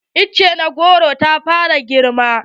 Itace na goro ta fara girma.